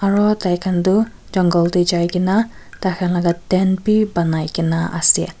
aro tai khan tu jungle teh jai ke na tai khan laga tent bhi banai ke na ase.